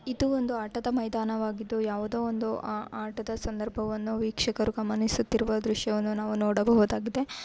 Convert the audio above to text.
ಇದು ಒಂದು ಆಟದ ಮೈದಾನವಾಗಿದ್ದು ಯಾವುದು ಒಂದು ಆ ಆಟದ ಸಂದರ್ಭವನ್ನು ವೀಕ್ಷಕರು ಗಮನಿಸುತ್ತಿರುವ ದೃಶ್ಯವನ್ನು ನಾವು ನೋಡಬಹುದಾಗಿದೆ